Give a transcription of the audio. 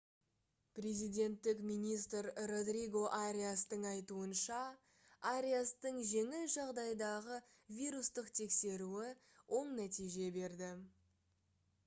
президенттік министр родриго ариастың айтуынша ариастың жеңіл жағдайдағы вирустық тексеруі оң нәтиже берді